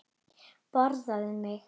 Borðaðu mig!